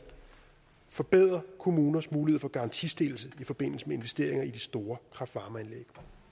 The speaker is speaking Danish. forbedre kommuners mulighed for garantistillelse i forbindelse med investeringer i de store kraft varme